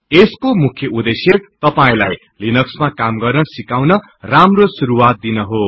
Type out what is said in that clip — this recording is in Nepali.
यसको मुख्य उदेश्य तपाईलाई लिनक्समा काम गर्न सिकाउन राम्रो शुरुवात दिन हो